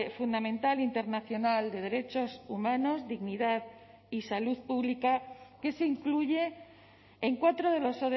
fundamental internacional de derechos humanos dignidad y salud pública que se incluye en cuatro de los